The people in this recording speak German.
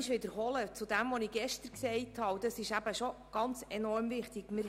Ich wiederhole nun, was ich gestern gesagt habe, weil es enorm wichtig ist.